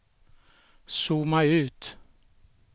zooma ut